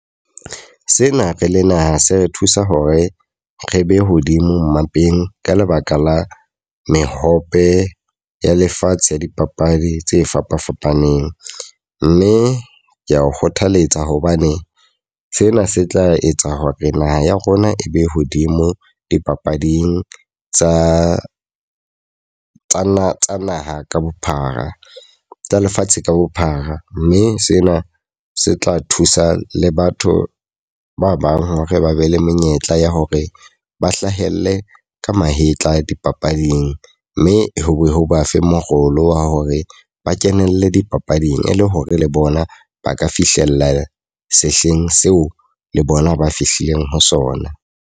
Sena re le naha se re thusa hore re be hodimo mmapeng. Ka lebaka la mehope ya lefatshe ya dipapadi tse fapa fapaneng. Mme ke a o kgothaletsa hobane sena se tla etsa hore naha ya rona e be hodimo dipapading tsa tsa naha ka bophara, tsa lefatshe ka bophara. Mme sena se tla thusa le batho ba bang hore ba be le menyetla ya hore ba hlahelle ka mahetla dipapading. Mme ho ba fe morolo wa hore ba kenelle dipapading e le hore le bona ba ka fihlella sehleng seo le bona ba fihlileng ho sona.